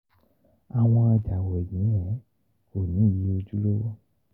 àwọn ọjà ko ni iye ojulowo.